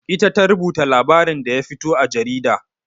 Ita ta rubuta labarin da ya fito a jarida.